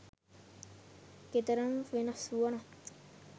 කෙතරම් වෙනස් වුණත්